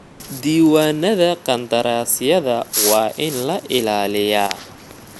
Diiwaanada qandaraasyada waa in la ilaaliyaa.